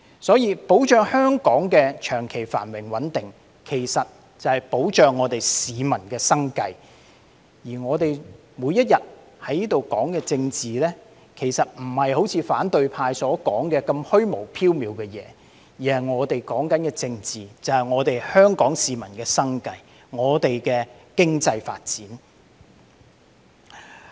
所以，保障香港的長期繁榮穩定，其實便是保障香港市民的生計，而我們每天在這裏說的政治，其實並非如反對派所說般那麼虛無縹緲的東西，我們在說的政治，即是香港市民的生計，香港的經濟發展。